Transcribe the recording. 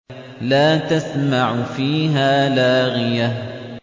لَّا تَسْمَعُ فِيهَا لَاغِيَةً